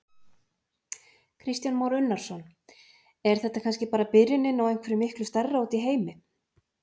Kristján Már Unnarsson: Er þetta kannski bara byrjunin á einhverju miklu stærra úti í heimi?